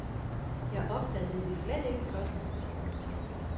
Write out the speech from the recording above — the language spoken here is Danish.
Jeg opfattede det slet ikke sådan.